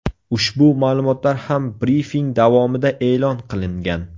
Ushbu ma’lumotlar ham brifing davomida e’lon qilingan.